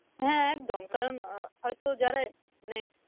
হ্যাঁ একদম কারণ আহ হয়তো যারা মানে